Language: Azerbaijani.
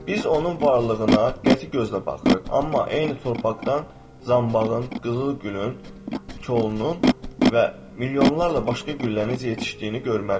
Biz onun varlığına qəti gözlə baxırıq, amma eyni torpaqdan zambağın, qızıl gülün kolunun və milyonlarla başqa güllənin necə yetişdiyini görməliyik.